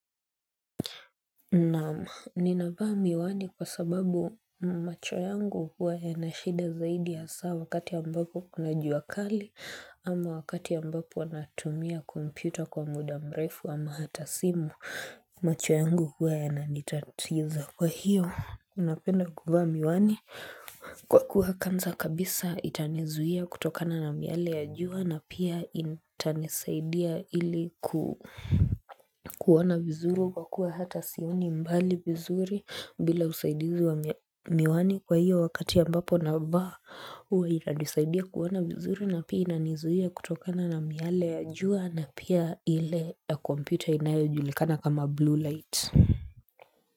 Naam, ninavaa miwani kwa sababu macho yangu huwa yana shida zaidi haswa wakati ambapo kuna jua kali ama wakati ambapo natumia computer kwa muda mrefu ama hata simu macho yangu huwa yananitatiza kwa hiyo unapenda kuvaa miwani kwa kuwa kwanza kabisa itanizuia kutokana na miale ya jua na pia itanisaidia ili kuona vizuru kwa kuwa hata sioni mbali vizuri bila usaidizi wa miwani kwa hiyo wakati ambapo navaa huwa inanisaidia kuona vizuri na pia inanizuia kutokana na miale ya jua na pia ile ya kompyuta inayojulikana kama blue light.